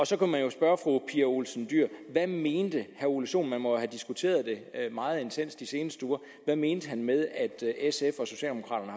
så kan man jo spørge fru pia olsen dyhr hvad mente herre ole sohn man må jo have diskuteret det meget intenst de seneste uger hvad mente han med at sf